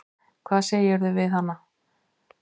Hvað sagðirðu við hana?